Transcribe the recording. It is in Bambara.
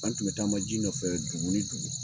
An tun bɛ taama ji nɔfɛ dugu ni dugu